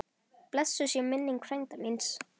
Blessuð sé minning frænda míns.